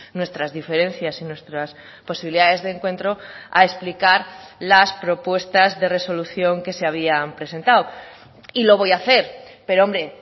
nuestras diferencias y nuestras posibilidades de encuentro a explicar las propuestas de resolución que se había presentado y lo voy a hacer pero hombre